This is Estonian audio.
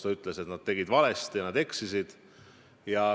Ta ütles, et nad tegid valesti, nad eksisid.